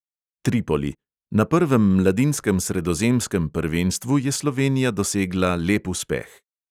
Tripoli: na prvem mladinskem sredozemskem prvenstvu je slovenija dosegla lep uspeh.